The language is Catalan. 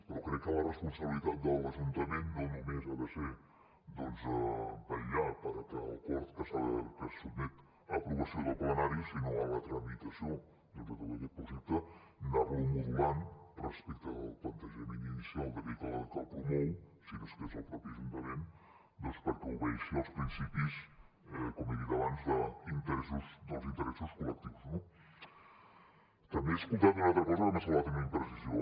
però crec que la responsabilitat de l’ajuntament no només ha de ser doncs vetllar per aquest acord que se sotmet a l’aprovació del plenari sinó en la tramitació doncs de tot aquest projecte anar lo modulant respecte del plantejament inicial d’aquell que el promou si no és que és el mateix ajuntament perquè obeeixi els principis com he dit abans dels interessos col·lectius no també he escoltat una altra cosa que m’ha semblat una imprecisió